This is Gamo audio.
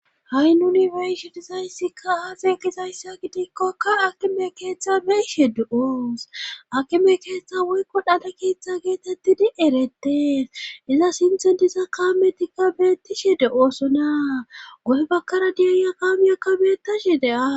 ha7i nuni beeyshe dizayssikka hafe kizayssa gidikkokka akime keeththa beyshe de7oos akime keeththa woykko dhana keeththa geetettidi eretees iza sintho diza kaametikka beettishe de oosonna gohebakkara diyaaya kaamiyakka beettashe de7as